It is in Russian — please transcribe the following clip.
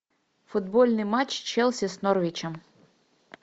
футбольный матч челси с норвичем